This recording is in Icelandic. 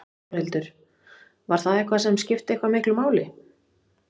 Þórhildur: Var það eitthvað sem skipti eitthvað miklu máli?